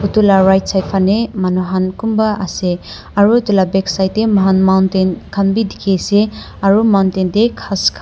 edu la right side fanae manu han kunba ase aro edu la backside tae mohan mountain khan bi dikhiase aru mountain tae ghan khan--